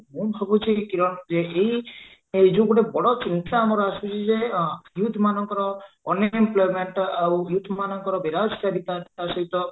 ମୁଁ ଭାବୁଚି କିରଣ ଯେ କି ଏଇ ଯୋଉ ଗୋଟେ ବଡ ଚିନ୍ତା ଆମର ଆସୁଚି ଯେ ଆଁ youth ମାନଙ୍କର unemployment ଆଉ youth ମାନଙ୍କର ବିରାଜ ସହିତ